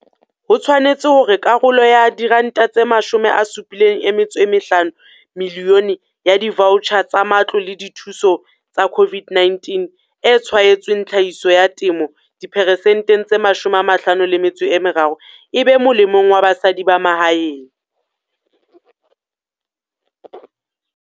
Ho tshwanehile hore karolo ya R75 milione ya divaotjhara tsa matlole a dithuso a COVID-19 a tshwaetsweng tlhahiso ya temo diperesenteng tse 53 e be molemong wa basadi ba mahaeng.